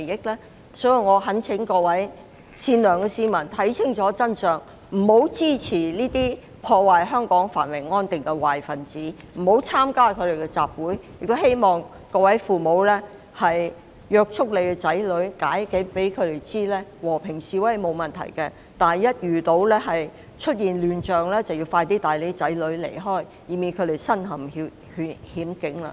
因此，我懇請各位善良的市民看清楚真相，不要支持這些破壞香港繁榮安定的壞分子，亦不要參加他們的集會，亦希望各位父母管束子女，向他們解釋和平示威並無問題，但一旦出現亂象，便要盡快離開，以免他們身陷險境。